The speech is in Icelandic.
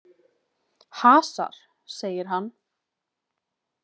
Hasar, segir hann.